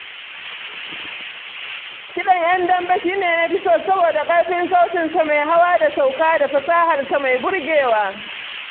Kiɗan Indiyawa shi ne na fi so saboda yana haɗa gargajiya da kiɗin zamani.